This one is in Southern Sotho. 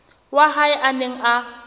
wa hae a neng a